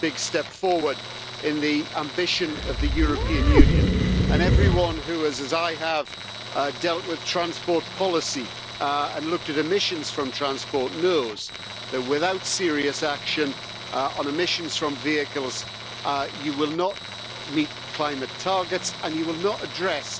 It's a big step forward in the ambition of the European Union and everyone who has, as I have, dealt with transport policy and looked at emissions from transport, knows that without serious action on emissions from vehicles, you will not meet climate targets and you will not address